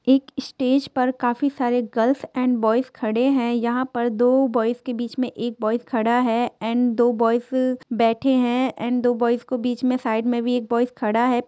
एक स्टेज पर काफी सारे गर्ल्स एंड बॉयस खडे हैं यहां पर दो बॉयस के बीच में एक बॉयस खडा हैएंड दो बॉयस बैठे हैएंड दो बोईस को बीच में साईड मे भी एक बॉयस खडा है।